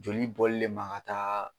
Joli bɔli le ma ka taa.